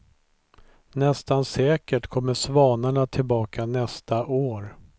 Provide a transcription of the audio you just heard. Nästan säkert kommer svanarna tillbaka nästa år.